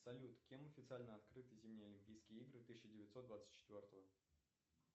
салют кем официально открыты зимние олимпийские игры тысяча девятьсот двадцать четвертого